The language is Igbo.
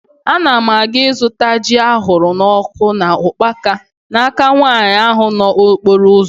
Ana m aga ịzụta ji ahụrụ n'ọkụ na ukpaka n'aka nwaanyị ahụ nọ n'okporo ụzọ